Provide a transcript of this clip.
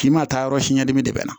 K'i ma taa yɔrɔ siɲɛ dimi de bɛ na